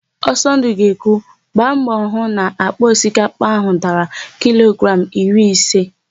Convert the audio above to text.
Ọsọndụ ga-ekwu, "gba mbọ hụ na àkpà osikapa áhụ̀ dara kilogramụ iri ise"!